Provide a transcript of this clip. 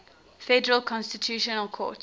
federal constitutional court